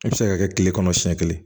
I bɛ se ka kɛ kile kɔnɔ siɲɛ kelen